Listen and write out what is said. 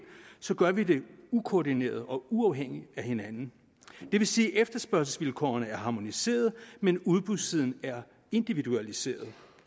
så gør vi det ukoordineret og uafhængigt af hinanden det vil sige at efterspørgselsvilkårene er harmoniseret men at udbudssiden er individualiseret